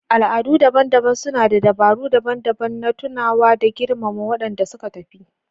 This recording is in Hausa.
Al'adu daban-daban suna da dabaru daban-daban na tunawa da girmama waɗanda suka tafi.